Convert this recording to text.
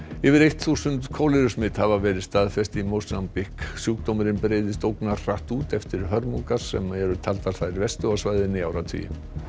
yfir eitt þúsund hafa verið staðfest í Mósambík sjúkdómurinn breiðist út eftir hörmungar sem eru taldar þær verstu á svæðinu í áratugi